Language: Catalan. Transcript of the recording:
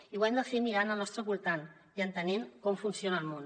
i ho hem de fer mirant al nostre voltant i entenent com funciona el món